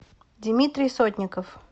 димитрий сотников